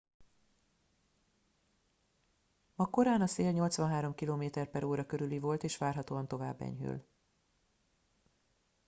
ma korán a szél 83 km/h körüli volt és várhatóan tovább enyhül